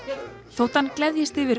þótt hann gleðjist yfir